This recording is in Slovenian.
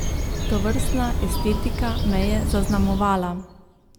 Tovrstna estetika me je zaznamovala.